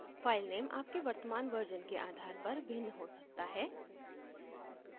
filename आपके वर्तमान version के आधार पर भिन्न हो सकता है